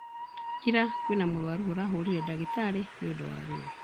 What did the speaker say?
Ira kwĩna mũrwaru ũrahũrire dagĩtarĩ nĩũndũ wa ruo